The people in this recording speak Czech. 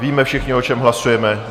Víme všichni, o čem hlasujeme?